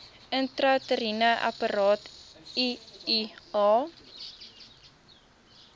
intrauteriene apparaat iua